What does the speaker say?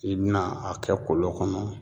I bi na a kɛ kolon kɔnɔ.